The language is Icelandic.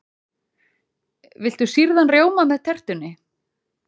Viltu sýrðan rjóma með tertunni?